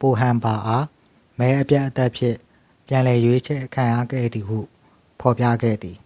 ပိုဟမ်ဘာအား မဲအပြတ်အသတ်ဖြင့် ပြန်လည်အရွေးခံခဲ့ရသည်ဟု ဖော်ပြခဲ့သည်